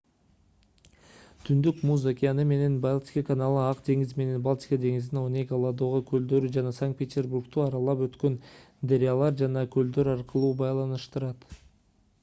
түндүк муз океаны менен балтика каналы ак деңиз менен балтика деңизин онега ладога көлдөрү жана санкт-петербургду аралап өткөн дарыялар жана көлдөр аркылуу байланыштырат